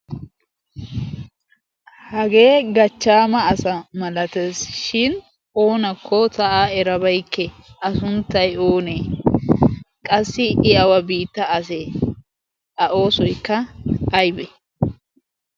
hagee gachchaama asa malatees shin oonakko ta7aa erabaikke a sunttai oonee? qassi i awa biitta asee? a oosoikka aibe?